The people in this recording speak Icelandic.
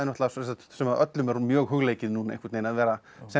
sem öllum er mjög hugleikið núna einhvern veginn að vera sem